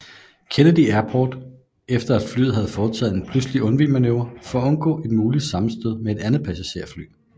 Kennedy Airport efter at flyet havde foretaget en pludselig undvigemanøvre for at undgå et muligt sammenstød med et andet passagerfly